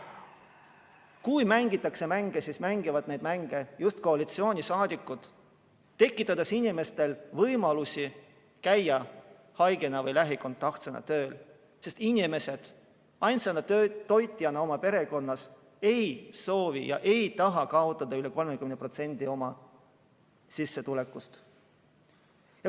Kui mängitakse mänge, siis mängivad neid mänge just koalitsioonisaadikud, tekitades inimestel vajaduse käia haigena või lähikontaktsena tööl, sest inimesed ainsa toitjana oma perekonnas ei soovi kaotada üle 30% oma sissetulekust.